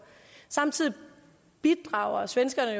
samtidig bidrager svenskerne